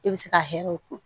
E bɛ se ka hɛrɛw ko